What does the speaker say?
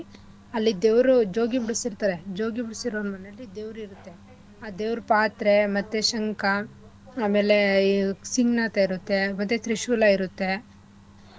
ಅಲ್ಲಿ ದೇವ್ರು ಜೋಗಿ ಬಿಡ್ಸಿರ್ತರೆ ಜೋಗಿ ಬಿಡ್ಸಿರೋರ್ ಮನೇಲಿ ದೇವ್ರು ಇರುತ್ತೆ ಆ ದೇವ್ರ್ ಪಾತ್ರೆ ಮತ್ತೇ ಶಂಖ ಆಮೇಲೆ ಈ ಸಿಮ್ಣ ಅಂತ ಇರುತ್ತೆ ಮತ್ತೆ ತ್ರಿಶೂಲ ಇರುತ್ತೆ.